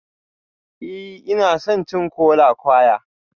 Ee, ina son cin kola-kwaya